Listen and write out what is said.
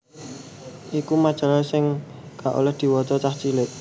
iku majalah sing gak oleh diwaca cah cilik